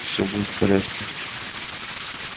все будет в порядке